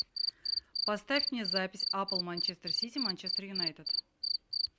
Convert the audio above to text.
поставь мне запись апл манчестер сити манчестер юнайтед